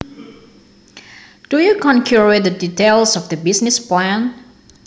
Do you concur with the details of the business plan